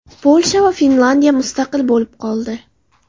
Polsha va Finlandiya mustaqil bo‘lib qoldi.